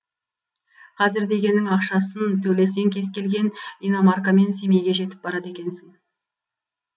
қазір дегенің ақшасын төлесең кез келген иномаркамен семейге жетіп барады екенсің